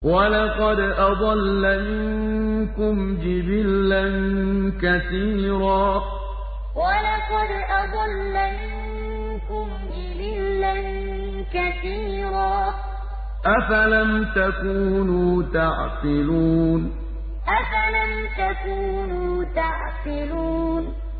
وَلَقَدْ أَضَلَّ مِنكُمْ جِبِلًّا كَثِيرًا ۖ أَفَلَمْ تَكُونُوا تَعْقِلُونَ وَلَقَدْ أَضَلَّ مِنكُمْ جِبِلًّا كَثِيرًا ۖ أَفَلَمْ تَكُونُوا تَعْقِلُونَ